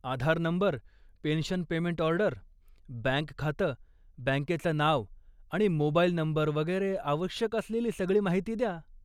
आधार number, pension payment order, bank खातं, बँकेचं नाव आणि मोबाईल नंबर वगैरे आवश्यक असलेली सगळी माहिती द्या.